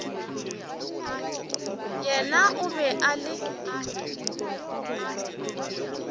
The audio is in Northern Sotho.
yena o be a le